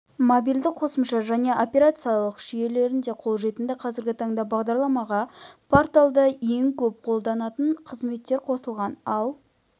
мобильді қосымша және операциялық жүйелерінде қолжетімді қазіргі таңда бағдарламаға порталда ең көп қолданатын қызметтер қосылған ал